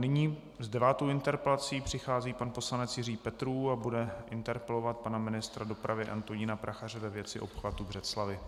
Nyní s devátou interpelací přichází pan poslanec Jiří Petrů a bude interpelovat pana ministra dopravy Antonína Prachaře ve věci obchvatu Břeclavi.